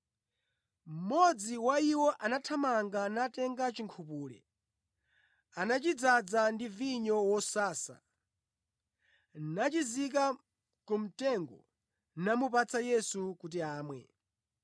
Mmodzi wa iwo anathamanga natenga chinkhupule. Anachidzaza ndi vinyo wosasa, nachizika ku mtengo namupatsa Yesu kuti amwe.